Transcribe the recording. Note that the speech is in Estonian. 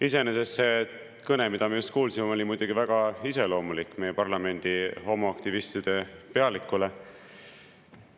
Iseenesest see kõne, mida me just kuulsime, oli muidugi väga iseloomulik meie parlamendi homoaktivistide pealikule.